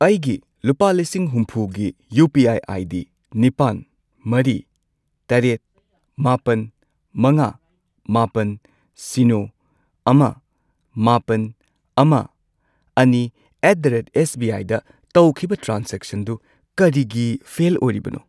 ꯑꯩꯒꯤ ꯂꯨꯄꯥ ꯂꯤꯁꯤꯡ ꯍꯨꯝꯐꯨꯒꯤ ꯌꯨ.ꯄꯤ.ꯑꯥꯏ. ꯑꯥꯏ.ꯗꯤ. ꯅꯤꯄꯥꯟ, ꯃꯔꯤ, ꯇꯔꯦꯠ, ꯃꯥꯄꯜ, ꯃꯉꯥ, ꯃꯥꯄꯟ, ꯁꯤꯅꯣ, ꯑꯃ, ꯃꯥꯄꯜ, ꯑꯃ, ꯑꯅꯤ ꯑꯦꯠ ꯗ ꯔꯦꯠ ꯑꯦꯁꯕꯤꯑꯥꯢꯗ ꯇꯧꯈꯤꯕ ꯇ꯭ꯔꯥꯟꯖꯦꯛꯁꯟꯗꯨ ꯀꯔꯤꯒꯤ ꯐꯦꯜ ꯑꯣꯢꯔꯤꯕꯅꯣ ?